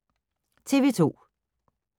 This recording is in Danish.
TV 2